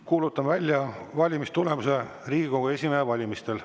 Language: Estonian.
Kuulutan välja valimistulemuse Riigikogu esimehe valimisel.